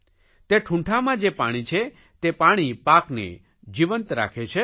તે ઠૂંઠામાં જે પાણી છે તે પાણી પાકને જીવંત રાખે છે